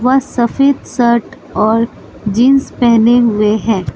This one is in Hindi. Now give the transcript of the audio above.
वह सफेद शर्ट और जींस पहने हुए हैं।